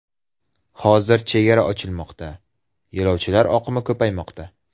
Hozir chegara ochilmoqda, yo‘lovchilar oqimi ko‘paymoqda.